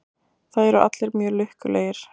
Það eru allir mjög lukkulegir.